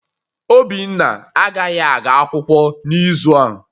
Obinna agaghị aga akwụkwọ n'izu a